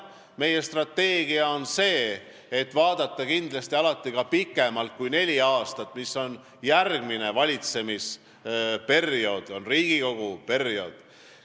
Meie strateegia on see, et vaadata kindlasti alati pikemat perioodi kui neli aastat, mis on järgmine valitsemisperiood ja Riigikogu ühe koosseisu volituste aeg.